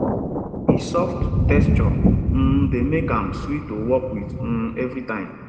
e soft texture um dey make am sweet to work with um every time